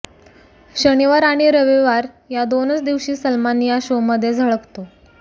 शनिवार आणि रविवार या दोनच दिवशी सलमान या शोमध्ये झळकतो